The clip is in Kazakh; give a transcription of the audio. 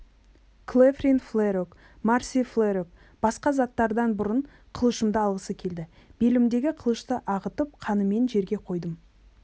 клефрин фрелок марси фрелок басқа заттардан бұрын қылышымды алғысы келді белімдегі қылышты ағытып қынымен жерге қойдым